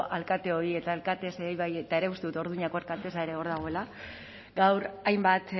alkateoi eta ere uste dut urduñako alkaltea ere hor dagoela gaur hainbat